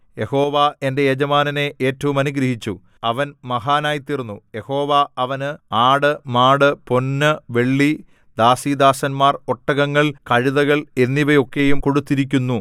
യഹോവ എന്റെ യജമാനനെ ഏറ്റവും അനുഗ്രഹിച്ചു അവൻ മഹാനായിത്തീർന്നു യഹോവ അവന് ആട് മാട് പൊന്ന് വെള്ളി ദാസീദാസന്മാർ ഒട്ടകങ്ങൾ കഴുതകൾ എന്നിവയൊക്കെയും കൊടുത്തിരിക്കുന്നു